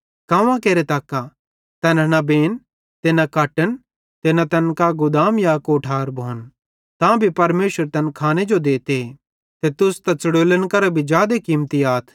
कांवां केरां तक्का तैना न बेन ते न कटन ते न तैन कां गुदाम या कोठार भोन तां भी परमेशर तैन खाने जो देते ते तुस त च़ड़ोलन करां भी जादे कीमती आथ